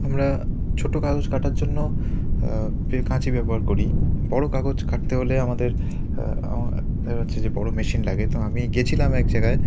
আমরা ছোট কাগজ কাটার জন্য কাচি ব্যবহার করি বড় কাগজ কাটতে হলে আমাদের আ -আ-- বড় মেশিন লাগে তো আমি গিয়েছিলাম এক জায়গায় ।